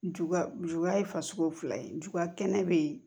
Juguya juguya ye fasugu fila ye juya kɛnɛ bɛ yen